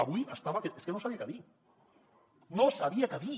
avui estava que és que no sabia què dir no sabia què dir